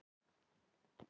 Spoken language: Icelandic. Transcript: Tvö auð rúm.